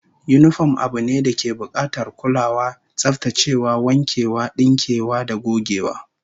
Yinifom abu ne dake bukatar kulawa, tsaftacewa, wankewa, dinkewa da gogewa